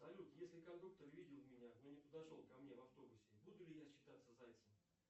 салют если кондуктор видел меня но не подошел ко мне в автобусе буду ли я считаться зайцем